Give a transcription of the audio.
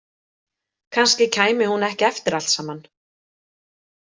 Kannski kæmi hún ekki eftir allt saman.